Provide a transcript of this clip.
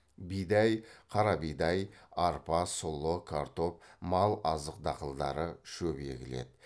бидай қара бидай арпа сұлы картоп мал азық дақылдары шөп егіледі